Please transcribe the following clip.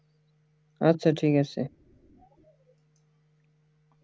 আচ্ছা ঠিক আছে